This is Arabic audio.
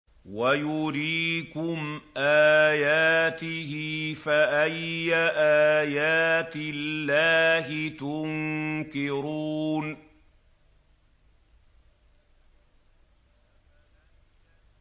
وَيُرِيكُمْ آيَاتِهِ فَأَيَّ آيَاتِ اللَّهِ تُنكِرُونَ